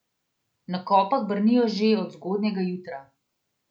Na Kopah brnijo že od zgodnjega jutra.